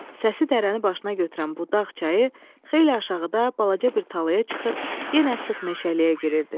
Səsi dərəni başına götürən bu dağ çayı xeyli aşağıda balaca bir talaya çıxır, yenə sıx meşəliyə girirdi.